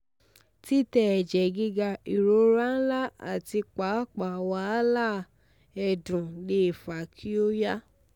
titẹ ẹjẹ giga irora nla ati paapaa wahala ẹdun le fa ki o ya